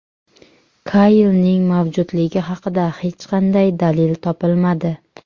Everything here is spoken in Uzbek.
Kaylning mavjudligi haqida hech qanday dalil topilmadi.